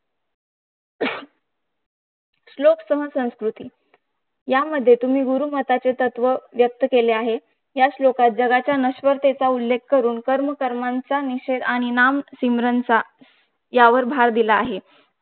श्लोक संस्कृती तुमि गुरुमताचे तत्व व्यक्त केले आहे. या श्लोकात जगाच्या जगाचा नश्वरतेच्या उल्लेख करून कर्म कर्मांचा निषेध आणि नाम सिमरन चा यावर भLर दिला आहे